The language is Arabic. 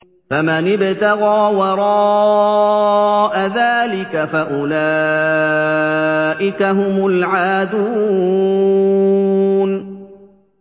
فَمَنِ ابْتَغَىٰ وَرَاءَ ذَٰلِكَ فَأُولَٰئِكَ هُمُ الْعَادُونَ